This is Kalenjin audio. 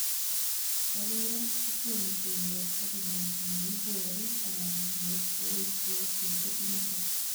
Agoi ra, tom kenyor evidence neiboru anan koesio theory initok